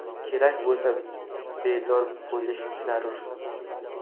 Kerak bo‘lsa, bedor bo‘lish zarur.